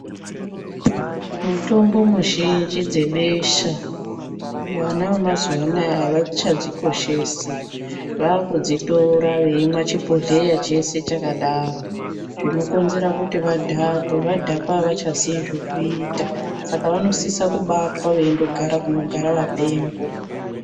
Mitombo muzhinji dzebesha vana vamazuva anaya havachadzikoshesi vakudzitora veimwa chibhohleya chese chakadaro. Zvinokonzera kuti vadhakwe vadhakwa havachazivi zvekuita. Saka vanosisa kubatwa veigara kunogara vapengo.